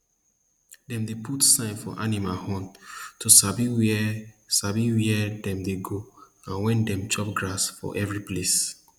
dem dey put sign for animal horn to sabi where sabi where dem dey go and when dem chop grass for every place